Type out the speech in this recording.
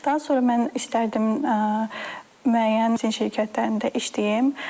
Daha sonra mən istərdim müəyyən şirkətlərində işləyim.